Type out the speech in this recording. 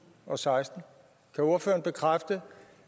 og seksten kan ordføreren bekræfte